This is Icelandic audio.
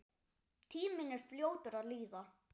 Tíminn er fljótur að líða.